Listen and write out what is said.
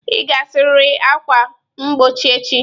Ị ga-asarịrị ákwà mgbochi echi.